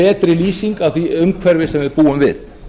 betri lýsing á því umhverfi sem við búum við